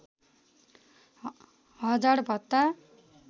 hazard भत्ता